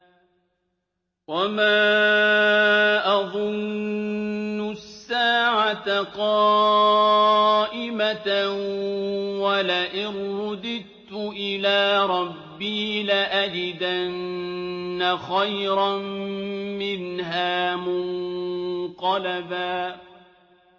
وَمَا أَظُنُّ السَّاعَةَ قَائِمَةً وَلَئِن رُّدِدتُّ إِلَىٰ رَبِّي لَأَجِدَنَّ خَيْرًا مِّنْهَا مُنقَلَبًا